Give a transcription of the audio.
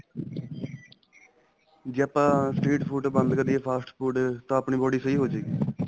ਜ਼ੇ ਆਪਾਂ street food ਹੀ ਬੰਦ ਕਰੀਏ fast food ਤਾਂ ਆਪਣੀ body ਸਹੀਂ ਹੋ ਜਏਗੀ